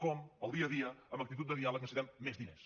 com pel dia a dia amb actitud de diàleg necessitem més diners